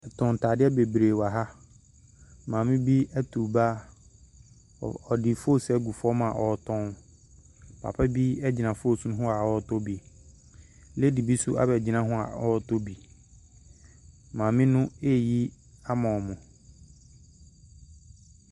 Wɔtɔn ntade bebree wɔ ha. Maame bi aturu ba. Ɔ ɔde foosu agu fam a ɔretɔn. Papa bi gyina foosu ho a ɔretɔ bi. Lady bi nso abɛgyina ho a ɔretɔ bi. Maame no reyi ama wɔn.